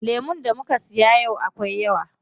Lemun da muka siya yau akwai yawa.